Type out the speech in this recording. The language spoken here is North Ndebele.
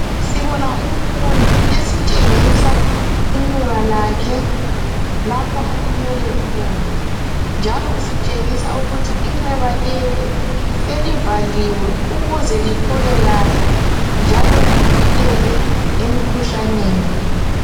Sibona umfundi esitshengisa inxeba lakhe lapho alimele khona. Njalo usitshengisa ukuthi inxeba leli selivaliwe ukuze liphole kahle njalo livikele emikhuhlaneni.